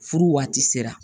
Furu waati sera